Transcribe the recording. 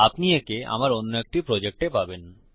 আপনি একে আমার কোনো একটি প্রজেক্টে পাবেন